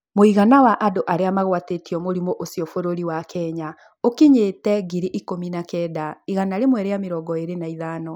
Mũigana wa andũ arĩa magwatĩtio mũrimũ ũcio bũrũri wa kenya ũkinyĩte ngiri ikũmi na kenda, igana rĩmwe rĩa mĩrongo ĩĩrĩ na ithano